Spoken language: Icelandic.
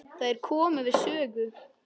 Þær komu við sögu.